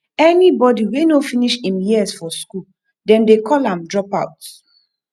anybody wey no finish im years for school dem de call am dropout